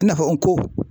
I na fɔ n ko